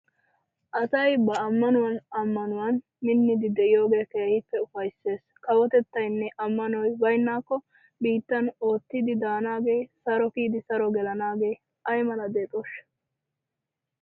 Asay ba ammanuwan ammanuwan minnidi de'iyogee keehippe ufayssees. Kawotettaynne ammanoy baynnaakko biittan oottidi daanaagee, saro kiyidi saro gelanaagee ay mala deexooshsha!